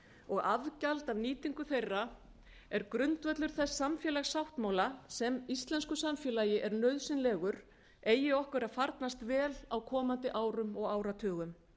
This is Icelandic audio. og afgjald af nýtingu þeirra er grundvöllur þess samfélagssáttmála sem íslensku samfélagi er nauðsynlegur eigi okkur að farnast vel á komandi árum og áratugum